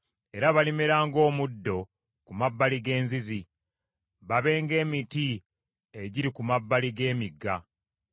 Era balimera ng’omuddo ku mabbali g’enzizi, babe ng’emiti egiri ku mabbali g’emigga.